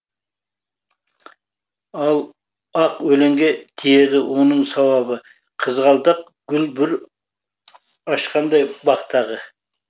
ал ақ өлеңге тиеді оның сауабы қызғалдақ гүл бүр ашқандай бақтағы